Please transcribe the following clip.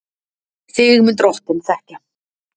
Þig mun Drottinn þekkja.